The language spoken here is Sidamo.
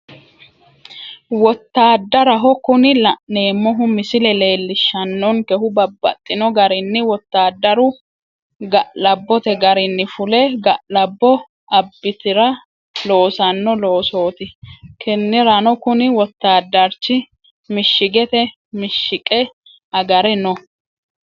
Wottadaraho, Kuni la'neemohu misile leelishano'nkehu babaxino garinni wotaadaru ga'labote qarinni fule ga'labo abattr loosanno loosotti kiniranno kuni wotaadarichi mishigete mishiqe agare noo